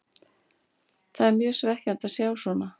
Það er mjög svekkjandi að sjá svona.